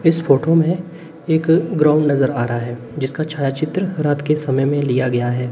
इस फोटो में एक ग्राउंड नजर आ रहा है जिसका छायाचित्र रात के समय में लिया गया है।